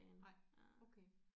Nej okay